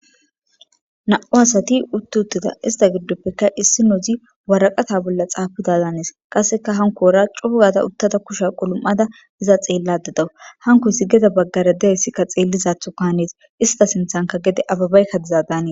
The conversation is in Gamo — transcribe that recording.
Na'mu sati uti utida isitapeka issinozi wariqata bolla xapida danes qasika cogada utada kushya kulu'u'ada utada iza xelayida dawus gede bagara dizays xelizatho hanes isita sinithanka abebay diza danees